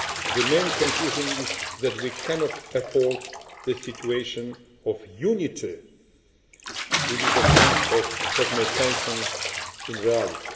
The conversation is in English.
The main conclusion is that we cannot afford the situation of a unity which is a kind of fragmentation in reality.